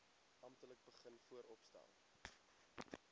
amptelik begin vooropstel